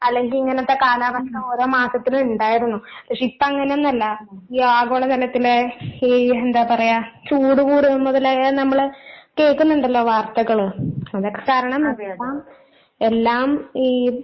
അല്ലെങ്കി ഇങ്ങനത്തെ കാലാവസ്ഥ ഓരോ മാസത്തിലും ഇണ്ടായിരുന്നു. പക്ഷെ ഇപ്പൊ അങ്ങനെ ഒന്നും അല്ല ഈ ആഗോളതലത്തിലെ ഈ എന്താ പറയാ ചൂട് കൂടുന്നത് മുതല് നമ്മള് കേക്കുന്നുണ്ടല്ലോ വാർത്തകള് കാരണം എല്ലാം ഈ